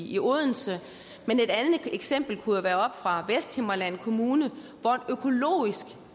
i odense men et andet eksempel kunne jo være oppe fra vesthimmerland kommune hvor en økologisk